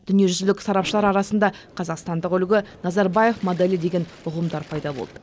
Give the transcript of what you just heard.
дүниежүзілік сарапшылар арасында қазақстандық үлгі назарбаев моделі деген ұғымдар пайда болды